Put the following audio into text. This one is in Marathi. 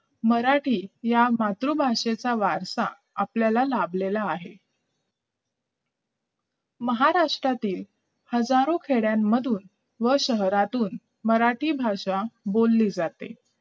मराठी या मातृभाषेचा वारसा आपल्याला लाभलेला आहे महाराष्ट्रातील हजारो खेड्यामधुन व शहरांतून मराठी भाषा बोलली जाते